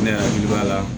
Ne hakili b'a la